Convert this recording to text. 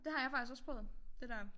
Det har jeg faktisk også prøvet det dér